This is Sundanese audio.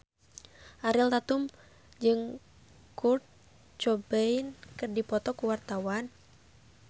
Ariel Tatum jeung Kurt Cobain keur dipoto ku wartawan